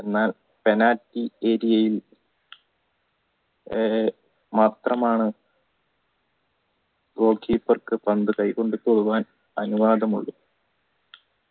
penalty ഏരിയയിൽ ആഹ് മാത്രമാണ് goal keeper ക്ക് പന്ത് കെയ് കൊണ്ട് തൊടുവാൻ അനുവാദമുള്ളൂ